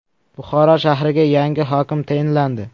Buxoro shahriga yangi hokim tayinlandi .